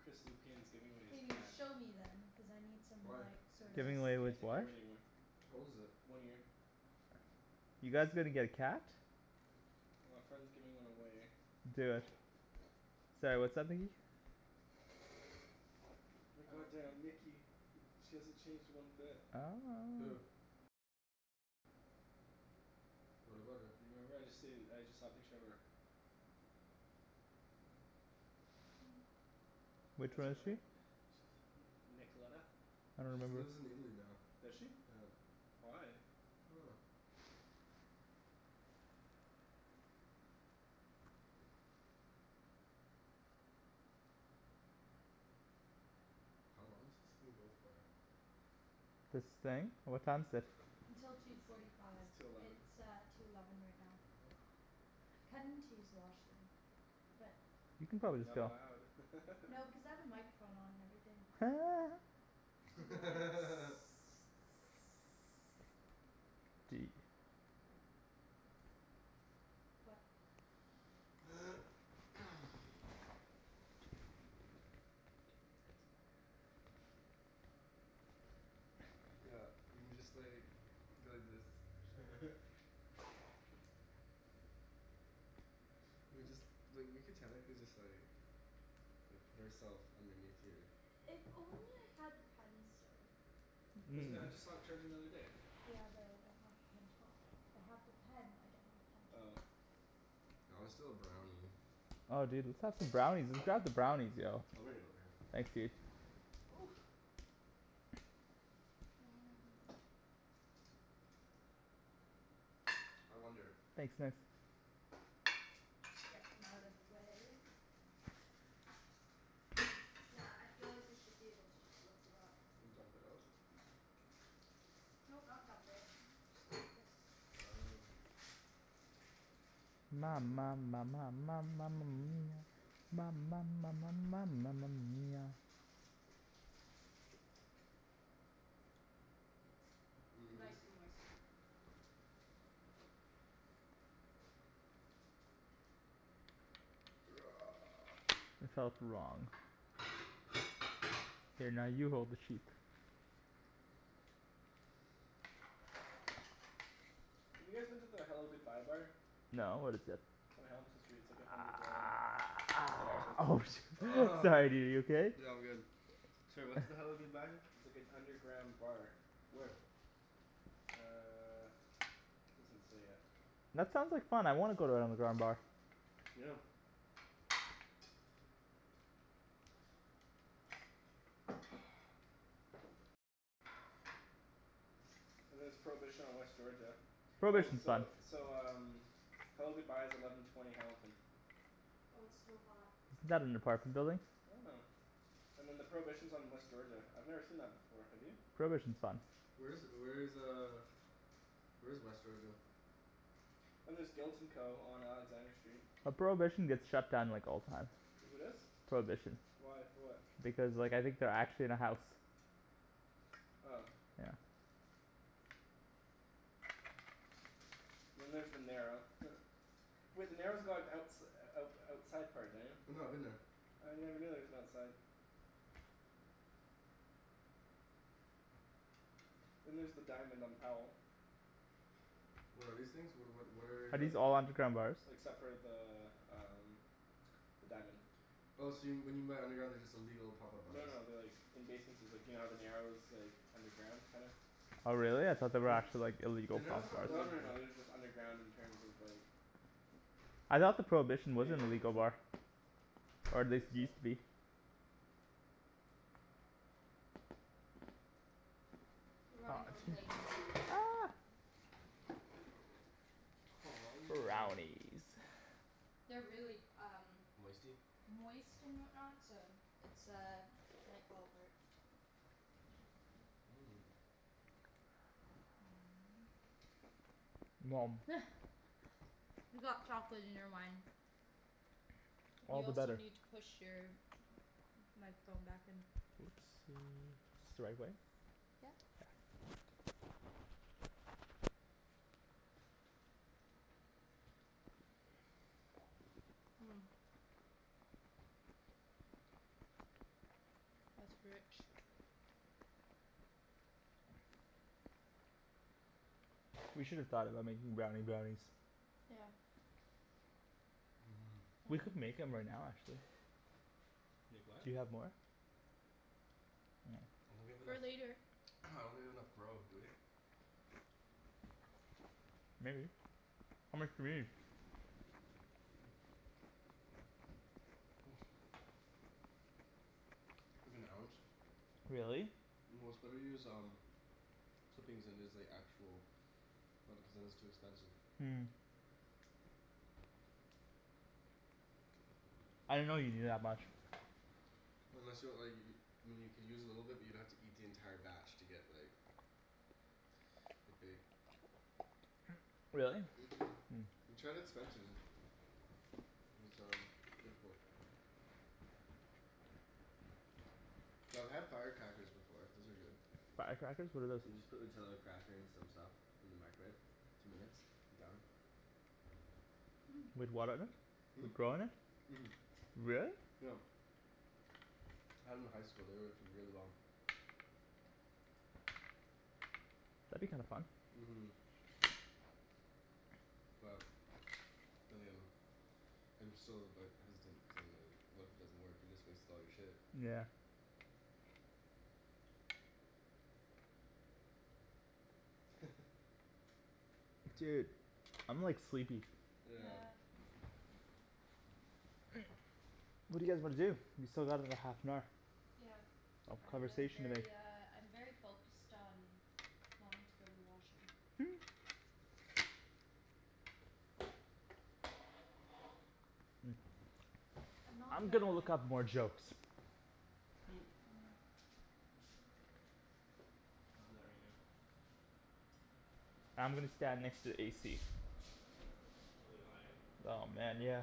Chris Lupian is giving away his Can you cat. show me then? Cuz I need some Why? like sorta Giving away Just with can't take care what? of it anymore. How old is it? One year. You guys gonna get a cat? Well a friend's giving one away. Do it. Sorry, what's up Nikki? My god damn Nikki, she hasn't changed one bit. Who? What about her? You remember I just said I just saw a picture of her. Which That's one her is she? right? N- Nicolena? I don't She's remember. lives in Italy now. Does she? Yeah. Why? I dunno. How long does this thing go for? This thing? What time is it? Until two forty It's five. two eleven. It's uh two eleven right now. Kinda need to use the washroom but You can probably just Not go. allowed. No because I have a microphone on and everything. I'd be like What? Yeah, we can just like go like this. Chill. We could just like, we could technically just like like put ourself underneath here. If only I had the pen still. Wasn't that, I just saw it charging the other day. Yeah but I don't have the pen top. I have the pen, I don't have the pen Oh. top. I wanna steal a brownie. Oh dude let's have some brownies. Let's have some brownies, yo. Oh Ryan over here. Thanks dude. And I wonder Thanks Nikks. Get them out of the way. Yeah, I feel like we should be able to just lift it up. And dump it out? No, not dump it. Just go like this. Oh Ma Lovely. ma ma ma ma ma ma ma mia ma ma ma ma ma ma ma ma mia. Mhm. Nice and moist. It felt wrong. Here now you hold the sheep. Have you guys been to the Hello Goodbye Bar? No, what is it? On Hamilton Street. It's like an underground bar, it looks Oh like. shi- Sorry dude, are you okay? Yeah, I'm good. Sorry, what's the Hello Goodbye? Like an underground bar. Where? Uh, it doesn't say yet. That sounds like fun, I wanna go to an underground bar. Yeah. And there's Prohibition on West Georgia. Oh, Prohibition's fun. so so um Hello Goodbye is eleven twenty Hamilton. Well it's still hot. Isn't that an apartment building? I don't know. And then the Prohibition is on West Georgia. I've never seen that before, have you? Prohibition's fun. Where is where is uh where is West Georgia? And there's Guilt and Co. on Alexander Street. Well Prohibition gets shut down like all the time. Who does? Prohibition. Why? For what? Because like I think they're actually in a house. Oh. Yeah. Then there's The Narrow Wait The Narrow's got outs- out outside part, Daniel. I know, I've been there. I never knew there was an outside. Then there's the Diamond on Powell. What are these things? What what what Are are Like these all underground bars? except for the um The Diamond. Oh so when you meant underground, they're just illegal pop up No bars no no they're like in basementses. Like you know how the Narrow is like underground, kinda? Oh really? I thought they were actually like illegal The Narrow's pot not bars. Oh no no underground. no they're just underground in terms of like I thought the Prohibition was They an like it's illegal an bar. Or at I least think it so. used to be. We're running out of plates. Aw yeah. Brownies. They're really um Moisty? moist and whatnot, so it's uh might fall apart. Mmm. You got chocolate in your wine. All You the also better. need to push your microphone back in. Oopsie. Is this the right way? Yeah. Yep. That's rich. We should've thought about making brownie brownies. Yeah. Mhm. We could make 'em right now actually. Make what? Do you have more? I don't have For enough, later. I don't have enough grow, do we? Maybe. How much do we need? Like an ounce. Really? Well it's better to use um clippings than it is like actual, cuz then it's too expensive. I didn't know you needed that much. Unless you want like y- I mean you could use a little bit but you'd have to eat the entire batch to get like get baked. Really? Mhm. We tried at Spencer's. It was um difficult. Yo I've had firecrackers before. Those are good. Firecrackers? What are those? You just put Nutella cracker and some stuff in the microwave. Two minutes. Done. With what in it? Hmm? With grow in it? Mhm. Really? Yep. Had 'em in high school, they worked really well. That'd be kinda fun. Mhm. Well, then again I'm so like hesitant, cuz I'm like what if it doesn't work? You just wasted all your shit. Yeah. Dude, I'm like sleepy. Yeah. Yeah. What do you guys wanna do? We still got another half an hour. Yeah. Of I am conversation to make. very uh I'm very focused on wanting to go to the washroom. I'm not I'm good gonna when look it up more jokes. I'll do that right now. I'm gonna stand next to the AC. It's really hot, eh? Oh man, yeah.